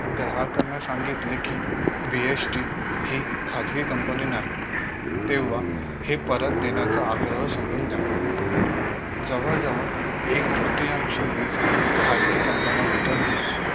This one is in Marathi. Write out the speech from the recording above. ग्राहकांना सांगितले कि BHT हि खासगी company नाही तेव्हा हे परत देण्याचा आग्रह सोडून द्यावा जवळ जवळ एक तृतीयांश वीज खासगी company न्या विकत घेतात